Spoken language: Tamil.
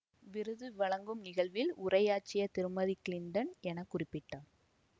விருது வழங்கும் நிகழ்வில் உரையாற்றிய திருமதி கிளிண்டன் என குறிப்பிட்டார்